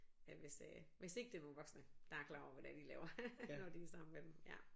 Ja hvis øh hvis ikke det var voksne der er klar over hvad det er de laver når de er sammen med dem ja